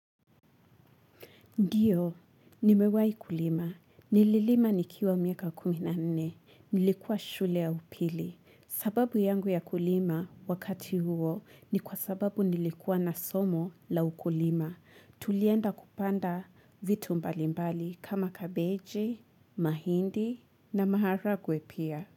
Ndiyo, nimewahi kulima. Nililima nikiwa miaka kumi na nne. Nilikuwa shule ya upili. Sababu yangu ya kulima wakati huo ni kwa sababu nilikuwa na somo la ukulima. Tulienda kupanda vitu mbalimbali kama kabeji, mahindi na maharagwe pia.